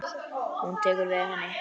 Hún tekur við henni.